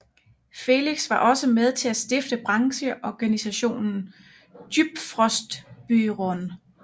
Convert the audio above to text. Felix var også med til at stifte brancheorganisationen Djupfrysningsbyrån